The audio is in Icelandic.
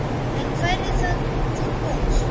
En væri það til góðs?